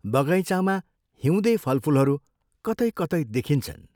बगैँचामा हिउँदे फलफूलहरू कतै कतै देखिन्छन्।